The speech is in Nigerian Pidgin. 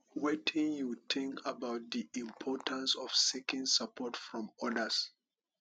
wetin you think about di importance of seeking support from odas